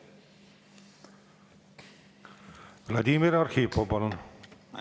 Vladimir Arhipov, palun!